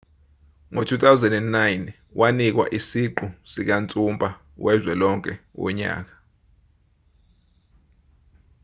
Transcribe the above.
ngo-2009 wanikwa isiqu sikansumpa wezwe lonke wonyaka